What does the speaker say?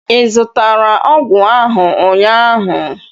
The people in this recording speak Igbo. ị zụrụtara ọgwụ ahụ ụnyaahụ?